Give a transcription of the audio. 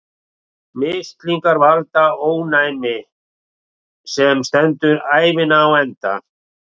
Mislingar valda ónæmi, sem stendur ævina á enda.